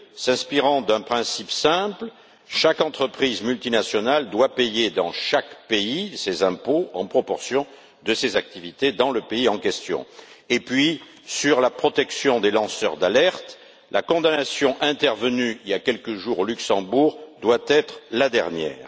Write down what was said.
s'inspirant d'un principe simple chaque entreprise multinationale doit payer dans chaque pays ses impôts en proportion de ses activités dans le pays en question et sur la protection des lanceurs d'alerte la condamnation intervenue il y a quelques jours au Luxembourg doit être la dernière.